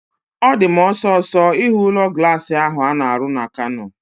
Ọ di m osisọ ihu ụlọ glaasi ahu a na-arụ na Kano